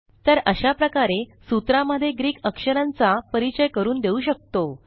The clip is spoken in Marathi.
तर अशा प्रकारे सूत्रा मध्ये ग्रीक अक्षरांचा परिचय करून देऊ शकतो